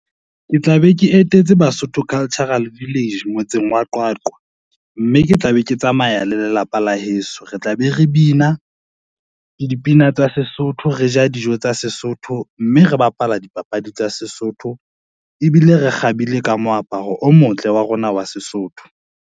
Ke tla be ke etetse Basotho Cultural Village motseng wa Qwaqwa, mme ke tla be ke tsamaya le lelapa la heso, re tla be re bina ke dipina tsa Sesotho, re ja dijo tsa Sesotho, mme re bapala dipapadi tsa Sesotho ebile re kgabile ka moaparo o motle wa rona wa Sesotho.